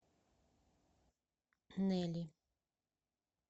нели